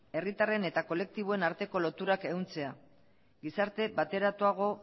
herritarren eta kolektiboen arteko loturak ehuntzea gizarte bateratuago